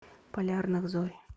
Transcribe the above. полярных зорь